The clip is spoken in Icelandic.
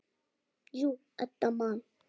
Jú, Edda man.